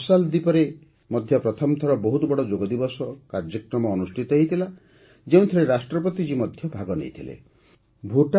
marshal ଦ୍ୱୀପରେ ମଧ୍ୟ ପ୍ରଥମ ଥର ବହୁତ ବଡ଼ ଯୋଗଦିବସ କାର୍ଯ୍ୟକ୍ରମ ଅନୁଷ୍ଠିତ ହୋଇଥିଲା ଯେଉଁଥିରେ ରାଷ୍ଟ୍ରପତି ଜୀ ମଧ୍ୟ ଭାଗନେଇଥିଲେ